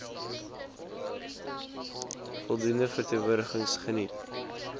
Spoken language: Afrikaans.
voldoende verteenwoordiging geniet